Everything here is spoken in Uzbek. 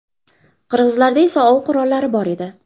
Qirg‘izlarda esa ov qurollari bor edi.